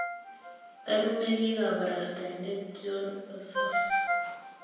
Ak ne ki kabarastaindet Jon Ossoff.